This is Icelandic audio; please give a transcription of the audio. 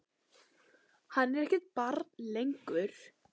Hann er ekkert barn lengur.